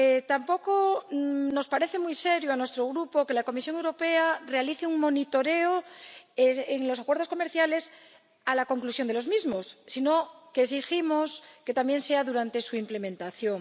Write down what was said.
Tampoco le parece muy serio a nuestro Grupo que la Comisión Europea realice un control de los acuerdos comerciales al concluir estos, sino que exigimos que también se haga durante su implementación.